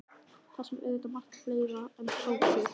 Þar sem auðvitað er margt fleira en sósur.